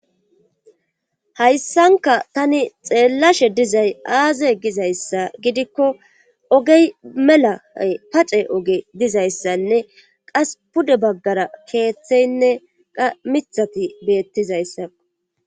Hayssanka tani xeellashe dizay aaze gizayssa gidikko ogey mela pace oge dizayssanne qas pude baggara keeththeynne qa mithati beettizayssao.